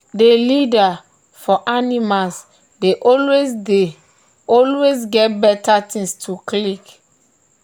the leader for animals dey always dey always get better things to lick.